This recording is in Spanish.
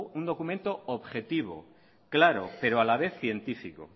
un documento objetivo claro pero a la vez científico